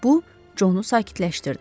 Bu, Conu sakitləşdirdi.